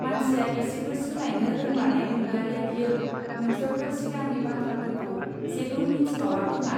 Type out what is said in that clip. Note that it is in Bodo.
मानसिया एसेबो सोलायनो रोंमारनाय नंलियालै बियो; नोंसोरथ' सिगांनि बाथ्राफोरखौ जेबो मिथिबावा खोमा.